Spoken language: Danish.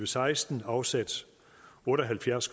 seksten afsat otte og halvfjerds